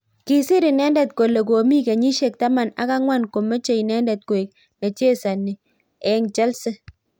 Kisir inendet kole komi kenyishek taman ak ang'wan komeche inendet koek nechazani eng Chelsea